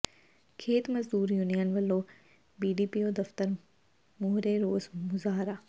ਖੇਤ ਮਜ਼ਦੂਰ ਯੂਨੀਅਨ ਵੱਲੋਂ ਬੀਡੀਪੀਓ ਦਫਤਰ ਮੂਹਰੇ ਰੋਸ ਮੁਜ਼ਾਹਰਾ